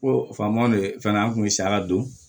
Ko faamaw de ye fɛnɛ an kun bɛ saladon